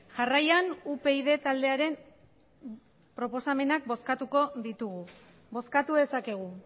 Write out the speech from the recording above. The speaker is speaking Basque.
jarraian upyd taldearen proposamenak bozkatuko ditugu bozkatu dezakegu